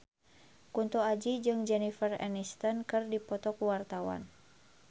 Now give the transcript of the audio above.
Kunto Aji jeung Jennifer Aniston keur dipoto ku wartawan